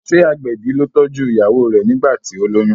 ṣe agbẹbi ló tọjú ìyàwó rẹ nigbati o loyún?